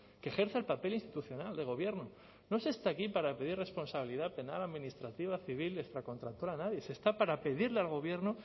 que ejerza el papel institucional de gobierno no se está aquí para pedir responsabilidad penal administrativa civil extracontractual a nadie se está para pedirle al gobierno